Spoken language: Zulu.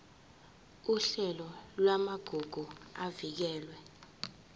uhlelo lwamagugu avikelwe